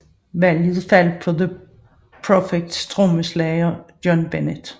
Valget faldt på The Prophecys trommeslager John Bennett